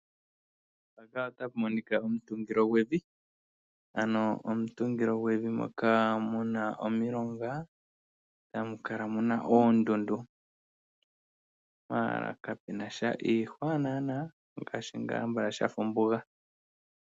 Mpaka otapu monika omutungilo gwevi ano omutungilo gwevi moka muna omilongo, tamu kala muna oondundu. Maala kapu nasha iihwa naana ngaashi ngaa ambala shafa ombuga.